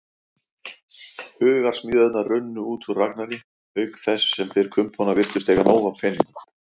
Hugarsmíðarnar runnu út úr Ragnari, auk þess sem þeir kumpánar virtust eiga nóg af peningum.